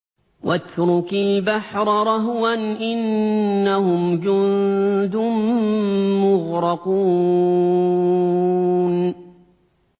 وَاتْرُكِ الْبَحْرَ رَهْوًا ۖ إِنَّهُمْ جُندٌ مُّغْرَقُونَ